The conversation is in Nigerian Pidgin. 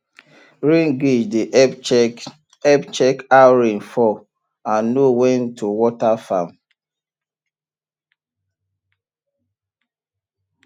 rain gauge dey help check help check how rain fall and know when to water farm